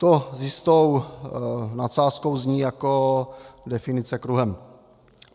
To s jistou nadsázkou zní jako definice kruhem.